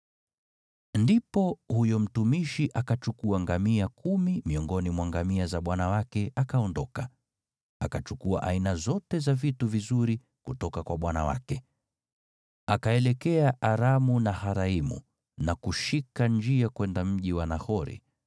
Ndipo huyo mtumishi akachukua ngamia kumi miongoni mwa ngamia za bwana wake, akaondoka, akiwa amechukua aina zote za vitu vizuri kutoka kwa bwana wake. Akaelekea Aramu-Naharaimu na kushika njia kwenda mji wa Nahori.